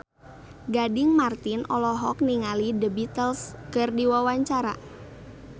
Gading Marten olohok ningali The Beatles keur diwawancara